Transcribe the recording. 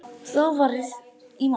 Þá var farið í mál